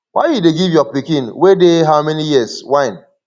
why you dey give your pikin wey dey how many years wine